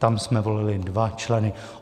Tam jsme volili dva členy.